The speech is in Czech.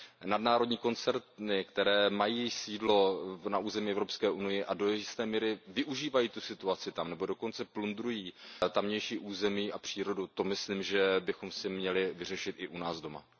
Nadnárodní koncerny, které mají sídlo na území Evropské unie a do jisté míry využívají situaci v této zemi nebo dokonce plundrují tamější území a přírodu, to myslím, že bychom si měli vyřešit i u nás doma.